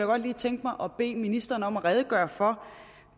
godt lige tænke mig at bede ministeren om at redegøre for